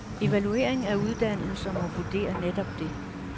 Evaluering af uddannelser må vurdere netop det.